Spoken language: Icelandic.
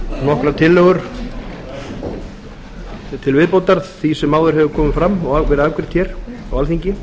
nokkrar tillögur til viðbótar því sem áður hefur komið fram og verið afgreitt á alþingi